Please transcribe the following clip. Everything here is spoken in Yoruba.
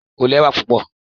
o lẹwa pupọ